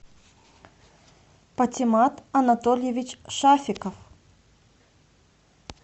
патимат анатольевич шафиков